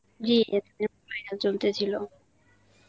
জী final চলতেছিল.